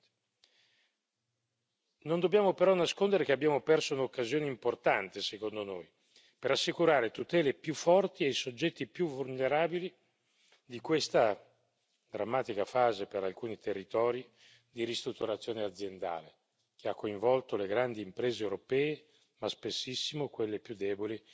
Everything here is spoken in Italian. Non dobbiamo però nascondere che abbiamo perso un'occasione importante, secondo noi, per assicurare tutele forti ai soggetti più vulnerabili di questa drammatica fase, per alcuni territori, di ristrutturazione aziendale, che ha coinvolto le grandi imprese europee ma, spessissimo, anche quelle più deboli di dimensioni medie e piccole.